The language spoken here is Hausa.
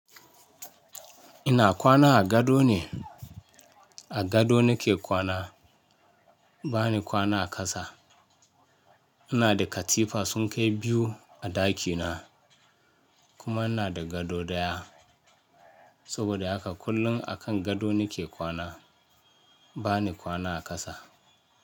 Ina kwana a gado ne, a gado na ke kwana bani kwana a ƙasa. Ina da katifa sun kai biyu a ɗakina kuma ina da gado daya. Saboda haka kullum a kan gado nike kwana bani kwana a ƙasa.